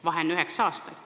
Vahe on üheksa aastat.